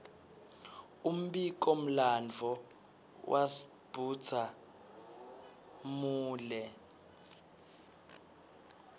umbiko mlanduo wasdbhuza mule